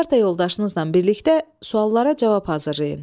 Parta yoldaşınızla birlikdə suallara cavab hazırlayın.